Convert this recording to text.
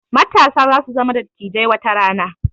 Matasa za su zama dattijai watarana